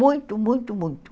Muito, muito, muito.